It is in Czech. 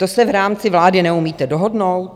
To se v rámci vlády neumíte dohodnout?